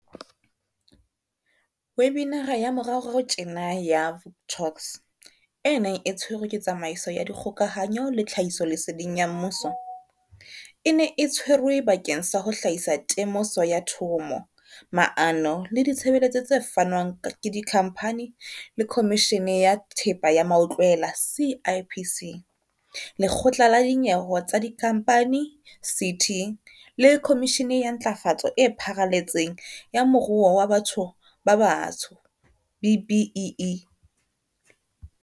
Webinara ya moraorao tjena ya Vuk Talks, e neng e tshwerwe ke Tsamaiso ya Dikgokahanyo le Tlhahisoleseding ya Mmuso, e ne e tshwerwe bakeng sa ho hlahisa temoso ya thomo, maano le ditshebeletso tse fanwang ke Dikhamphani le Khomishene ya Thepa ya Mautlwela, CIPC, Lekgotla la Dinyewe tsa Dikhamphani, CT, le Khomishene ya Ntlafatso e Pharaletseng ya Moruo wa Batho ba Batsho, B-BBEE.